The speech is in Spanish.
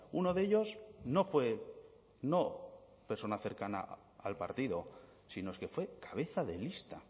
uno de ellos no fue no persona cercana al partido sino es que fue cabeza de lista